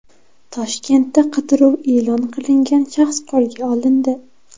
Toshkentda qidiruv e’lon qilingan shaxs qo‘lga olindi.